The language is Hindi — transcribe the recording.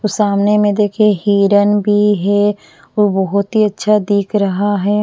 तो सामने में देखिए हिरन भी है वो बहुत ही अच्छा दिख रहा है।